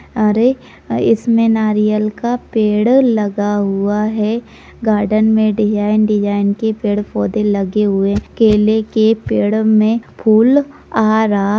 --अरे इसमें नारियल का पेड़ लगा हुआ है गार्डन में डिज़ाइन -डिज़ाइन की पेड़-पौधे लगे हुए केले के पेड़ में फूल आ रहा।